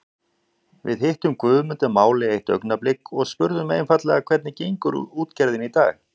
Við hittum Guðmund að máli eitt augnablik og spurðum einfaldlega hvernig gengur útgerðin í dag?